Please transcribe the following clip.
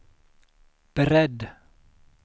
beredd